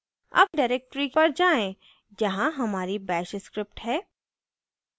अब directory पर जाएँ जहाँ हमारी bash script है